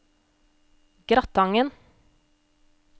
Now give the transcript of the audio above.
Gratangen